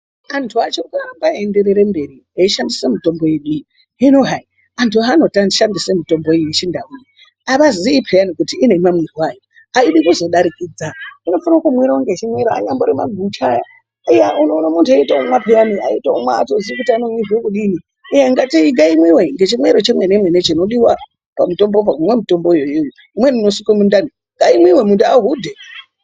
Antu achiri kuramba eyi enderere mberi eyi shandisa mitombo yedu iyi hino hai antu hano shandisa mutombo iyi ye chindau iyi ava zii peyani kuti ine ma mwirwo ayo ayidi kuzo darikidza ino fana ku mwiwa ne chimwero anya mbori magucha iya unoona muntu eyito mwa peyani aitomwa ato ziyi kuti ano mwirwa kudini uye ngai mwiwe nge chimwero che mene mene chino diwa pa mutombo po kumwa mutombo iyoyo imweni ino suke mundani ngai mwiwe muntu ahudhe.